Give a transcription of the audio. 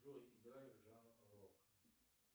джой играй жанр рок